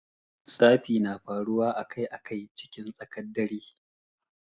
Tsafi na faruwa a Kai a Kai cikin tsakar dare.